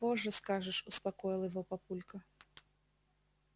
позже скажешь успокоил его папулька